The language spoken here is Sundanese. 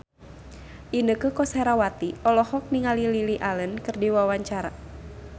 Inneke Koesherawati olohok ningali Lily Allen keur diwawancara